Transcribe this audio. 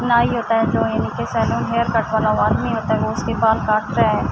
نائی ہوتا ہے۔ جو انکے سالوں ہیرکٹ والا ہوتا ہے۔ وو اسکے بال کاٹتا ہے۔